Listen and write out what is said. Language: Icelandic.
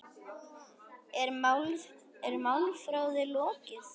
Er málþófi lokið?